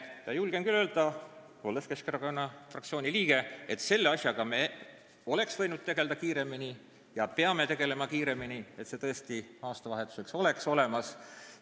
Ma julgen küll öelda, olles Keskerakonna fraktsiooni liige, et selle asjaga me oleksime võinud tegelda kiiremini ja peame tegelema kiiremini, et see aastavahetuseks oleks tõesti olemas.